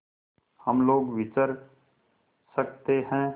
हम लोग विचर सकते हैं